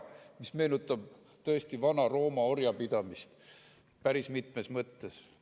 See meenutab tõesti Vana‑Rooma orjapidamist, päris mitmes mõttes.